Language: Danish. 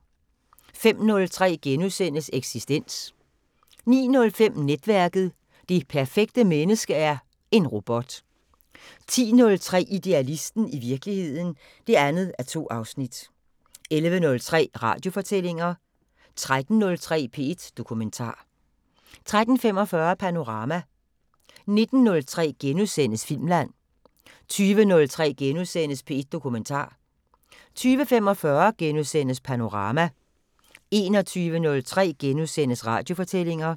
05:03: Eksistens * 09:05: Netværket: Det perfekte menneske er en robot 10:03: Idealisten – i virkeligheden (2:2) 11:03: Radiofortællinger 13:03: P1 Dokumentar 13:45: Panorama 19:03: Filmland * 20:03: P1 Dokumentar * 20:45: Panorama * 21:03: Radiofortællinger *